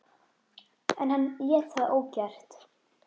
En hann lét það ógert.